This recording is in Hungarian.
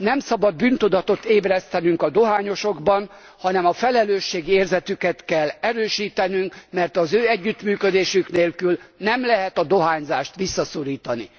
Nem szabad bűntudatot ébresztenünk a dohányosokban, hanem a felelősségérzetüket kell erősítenünk, mert az ő együttműködésük nélkül nem lehet a dohányzást visszaszorítani.